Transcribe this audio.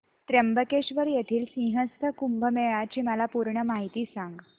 त्र्यंबकेश्वर येथील सिंहस्थ कुंभमेळा ची मला पूर्ण माहिती सांग